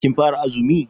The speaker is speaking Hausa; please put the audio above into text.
Kin fara azumi?